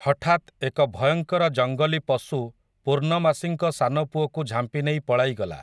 ହଠାତ୍ ଏକ ଭୟଙ୍କର ଜଙ୍ଗଲୀ ପଶୁ ପୂର୍ଣ୍ଣମାସୀଙ୍କ ସାନପୁଅକୁ ଝାମ୍ପିନେଇ ପଳାଇଗଲା ।